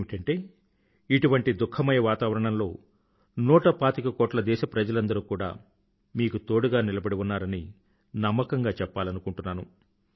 ఏమిటంటే ఇటువంటీ దుఖమయ వాతావరణంలో నూటపాతికకోట్ల దేశప్రజలందరూ కూడా మీకు తోడుగా నిలబడి ఉన్నారని నమ్మకంగా చెప్పాలనుకుంటున్నాను